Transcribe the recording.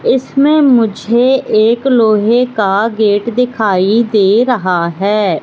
इसमें मुझे एक लोहे का गेट दिखाई दे रहा है।